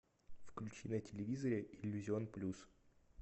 включи на телевизоре иллюзион плюс